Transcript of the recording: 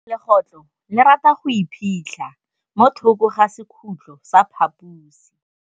Legôtlô le rata go iphitlha mo thokô ga sekhutlo sa phaposi.